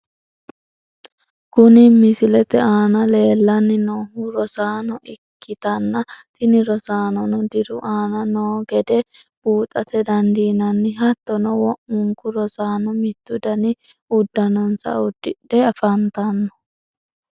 Kuni misilete aana leellanni noohu rosaano ikkitanna tini rosaanono diru aana noo gede buuxate dandiinanni hattono wo'munku rosaano mittu dani uddanonsa uddidhe afantanno.